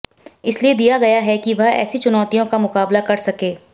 इसलिए दिया गया है कि वह ऐसी चुनौतियों का मुकाबला कर सके